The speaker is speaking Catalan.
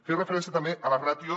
feia referència també a la ràtio